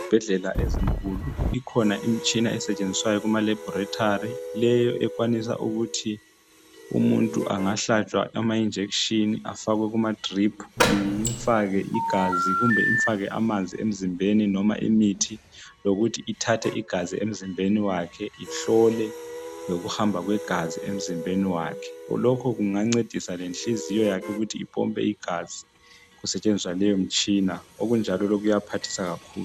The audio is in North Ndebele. Ezibhedlela ezinkulu ikhona imitshina esetshenziswayo kumalabhorethari, le ekwanisa ukuthi umuntu angahlatshwa amajekiseni, afakwe kumadrip, imfake igazi kumbe imfake amanzi emzimbeni noma imithi lokuthi ithathe igazi emzimbeni wakhe ihlole lokuhamba kwegazi emzimbeni wakhe. Lokhu kungancedisa lenhliziyo yakhe ukuthi ipompe igazi kusetshenziswa leyo mtshina, okunjalo lokhu kuyaphathisa kakhulu.